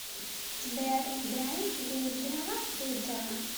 сбер играй гудда гудда